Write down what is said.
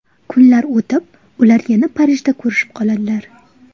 Kunlar o‘tib, ular yana Parijda ko‘rishib qoladilar.